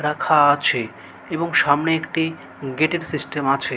রাখা আছে এবং সামনে একটি গেট -র সিস্টেম আছে।